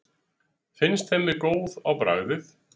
finnst þeim við góð á bragðið